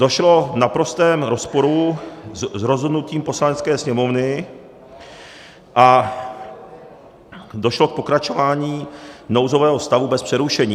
Došlo v naprostém rozporu s rozhodnutím Poslanecké sněmovny a došlo k pokračování nouzového stavu bez přerušení.